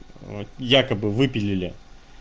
вот якобы выпилили